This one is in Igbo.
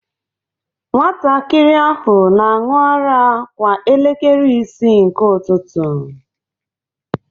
Nwatakịrị ahụ na-aṅụ ara kwa elekere isii nke ụtụtụ